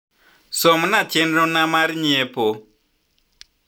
som na chenro na mar nyiepo